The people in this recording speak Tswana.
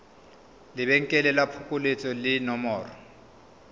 lebenkele la phokoletso le nomoro